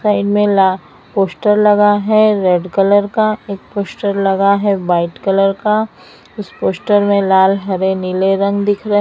कई मिला पोश्टर लगा है रेड कलर का एक पोश्टर लगा है वाइट कलर का उस पोश्टर में लाल हरे नीले रंग दिख रहे--